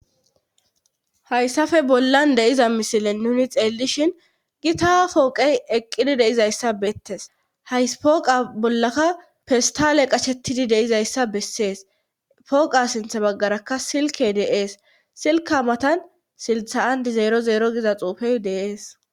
hayssafe bollan deiza misile nuni xeellishin gi ta pooqey eqqidi deizayssa beettes hays pooqa bollaka festale qashettidi deizayssa bessees pooqa sinth baggarakka silke deees silka matan siltha andizeero zeero giza xuufey deees